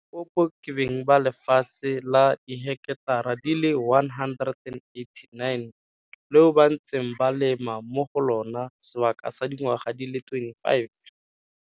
Limpopo, ke beng ba lefatshe la diheketara di le 189, leo ba ntseng ba lema mo go lona sebaka sa dingwaga di le 25.